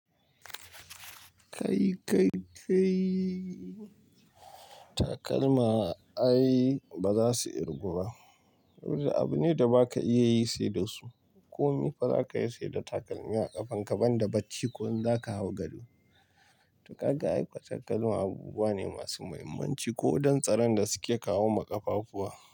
Kai, kai, kai takalma ai ba za su irguba. Yanzu abu ne da ba ka iya yi sai da su. Ko mifa za ka yi sai da takalmi a ƙafanka banda bacci ko in za ka hau gado. To kaga aikuwa takalma abubuwa ne masu muhimmanci ko don tsaron da suke kawo ma ƙafafuwa.